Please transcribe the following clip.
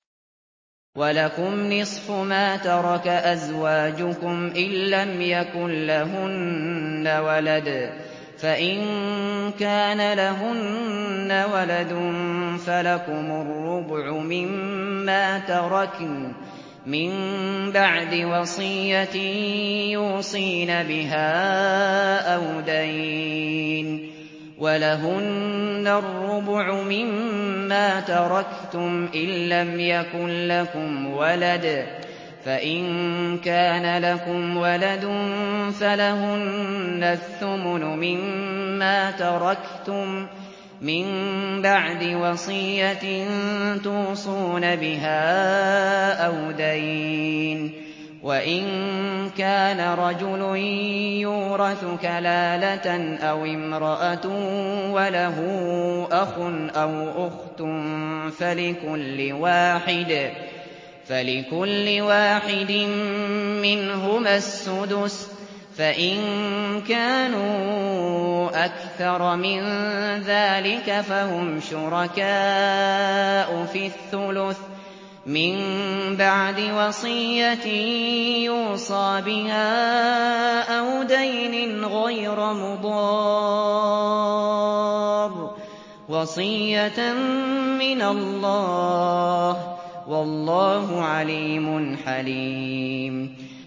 ۞ وَلَكُمْ نِصْفُ مَا تَرَكَ أَزْوَاجُكُمْ إِن لَّمْ يَكُن لَّهُنَّ وَلَدٌ ۚ فَإِن كَانَ لَهُنَّ وَلَدٌ فَلَكُمُ الرُّبُعُ مِمَّا تَرَكْنَ ۚ مِن بَعْدِ وَصِيَّةٍ يُوصِينَ بِهَا أَوْ دَيْنٍ ۚ وَلَهُنَّ الرُّبُعُ مِمَّا تَرَكْتُمْ إِن لَّمْ يَكُن لَّكُمْ وَلَدٌ ۚ فَإِن كَانَ لَكُمْ وَلَدٌ فَلَهُنَّ الثُّمُنُ مِمَّا تَرَكْتُم ۚ مِّن بَعْدِ وَصِيَّةٍ تُوصُونَ بِهَا أَوْ دَيْنٍ ۗ وَإِن كَانَ رَجُلٌ يُورَثُ كَلَالَةً أَوِ امْرَأَةٌ وَلَهُ أَخٌ أَوْ أُخْتٌ فَلِكُلِّ وَاحِدٍ مِّنْهُمَا السُّدُسُ ۚ فَإِن كَانُوا أَكْثَرَ مِن ذَٰلِكَ فَهُمْ شُرَكَاءُ فِي الثُّلُثِ ۚ مِن بَعْدِ وَصِيَّةٍ يُوصَىٰ بِهَا أَوْ دَيْنٍ غَيْرَ مُضَارٍّ ۚ وَصِيَّةً مِّنَ اللَّهِ ۗ وَاللَّهُ عَلِيمٌ حَلِيمٌ